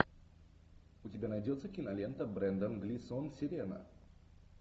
у тебя найдется кинолента брендан глисон сирена